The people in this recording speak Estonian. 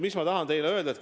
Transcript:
Mis ma tahan teile öelda?